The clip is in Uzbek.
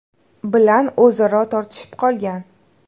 bilan o‘zaro tortishib qolgan.